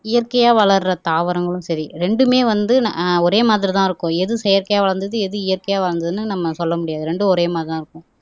இயற்கையா வளர்ற தாவரங்களும் சரி இரண்டுமே வந்து ஆஹ் ஒரே மாதிரி தான் இருக்கும் எது வளர்ந்தது எது இயற்கையா வாழ்ந்ததுன்னு நம்ம சொல்ல முடியாது ரெண்டும் ஒரே மாதிரிதான் இருக்கும்